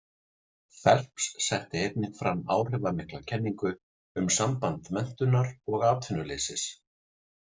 Phelps setti einnig fram áhrifamikla kenningu um samband menntunar og atvinnuleysis.